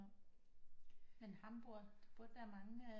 Men Hamburg der burde være mange øh